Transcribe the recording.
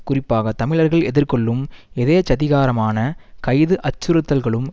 குறிப்பாக தமிழர்கள் எதிர்கொள்ளும் எதேச்சதிகாரமான கைது அச்சுறுத்தல்களும்